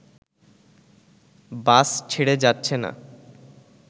বাস ছেড়ে যাচ্ছে না